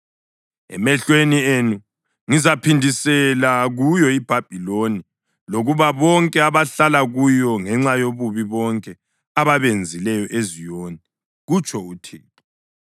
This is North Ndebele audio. Emehlweni enu ngizaphindisela kuyo iBhabhiloni lakubo bonke abahlala kuyo ngenxa yobubi bonke ababenzileyo eZiyoni,” kutsho uThixo.